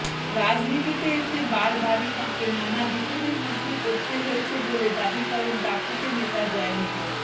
রাজনীতিতে এসে বারবারই তাঁকে নানা বিপদের মধ্যে পড়তে হয়েছে বলে দাবি করেন দাপুটে নেতা জয়ন্ত